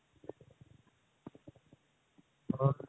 or